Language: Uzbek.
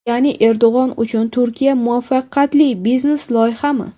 Ya’ni Erdo‘g‘on uchun Turkiya muvaffaqiyatli biznes-loyihami?